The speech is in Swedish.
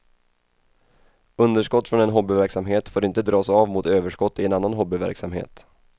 Underskott från en hobbyverksamhet får inte dras av mot överskott i en annan hobbyverksamhet.